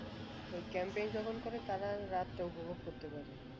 ওই camping যখন করে তারা রাতটা উপভোগ করতে পার